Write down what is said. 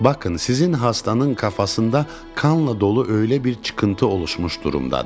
Bakın, sizin xəstanın kafasında qanla dolu öylə bir çıxıntı oluşmuş durumdadır.